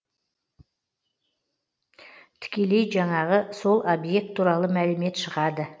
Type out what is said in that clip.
тікелей жанағы сол объект туралы мәлімет шығады